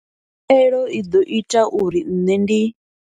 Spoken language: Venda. Khaelo i ḓo ita uri nṋe ndi.